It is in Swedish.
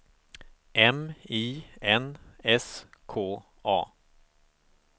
M I N S K A